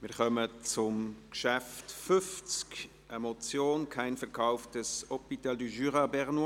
Wir kommen zum Traktandum 50 und damit zur Motion «Kein Verkauf des Hôpital du Jura bernois».